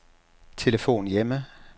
telefon hjemme